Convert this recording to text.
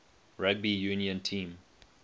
rugby union team